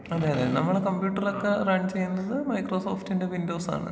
അതെ അതേ നമ്മളെ കമ്പ്യൂട്ടറൊക്കെ റൺ ചെയ്യുന്നത് മൈക്രോ സോഫ്റ്റിന്റെ വിൻഡോസാണ്.